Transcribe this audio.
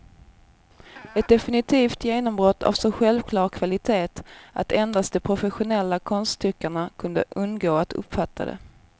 Ett definitivt genombrott av så självklar kvalitet att endast de professionella konsttyckarna kunde undgå att uppfatta det.